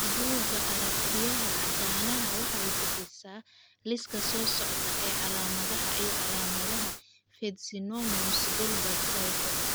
Bugga aragtiyaha aanadanaha waxay bixisaa liiska soo socda ee calaamadaha iyo calaamadaha Fitzsimmons Guilbert syndrome.